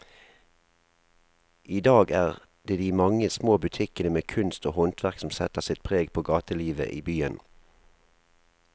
I dag er det de mange små butikkene med kunst og håndverk som setter sitt preg på gatelivet i byen.